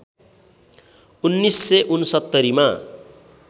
१९६९ मा